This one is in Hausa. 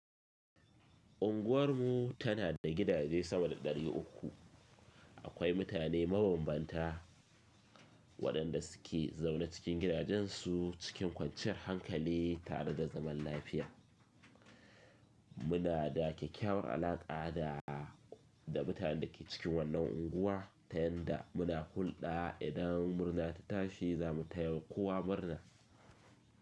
Unguwar mu tana da gidaje sama da ɗari uku, akwai mutane mabambanta waɗanda suke zaune cikin gidajensu cikin kwanciyar hankali tare da zaman lafiya. Muna da kyakkyawar alaƙa da mutanen da ke cikin wannan unguwa, tayan da muna hulɗa idan murna ta tashi zamu taya kowa murna.